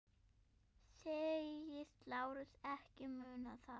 Segist Lárus ekki muna það.